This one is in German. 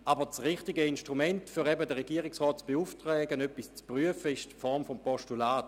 Aber das richtige Instrument, um den Regierungsrat zu beauftragen, etwas zu prüfen, ist das Postulat.